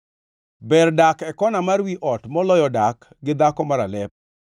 Ber dak e kona mar wi ot moloyo dak gi dhako maralep.